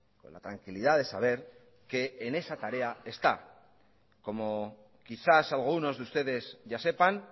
con la tranquilidad de saber que en esa tarea está como quizás algunos de ustedes ya sepan